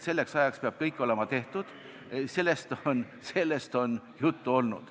Selleks ajaks peab kõik olema tehtud, sellest on juttu olnud.